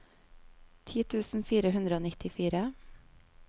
ti tusen fire hundre og nittifire